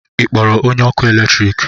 Ị kpọrọ onye ọkụ eletrik ahu?